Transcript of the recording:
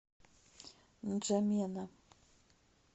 нджамена